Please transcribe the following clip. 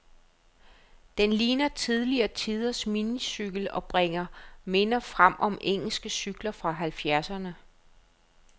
Den ligner tidligere tiders minicykel, og bringer minder frem om engelske cykler fra halvfjerdserne.